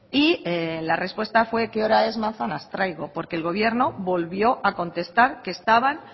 y la respuesta fue qué hora es manzanas traigo porque el gobierno volvió a contestar que estaban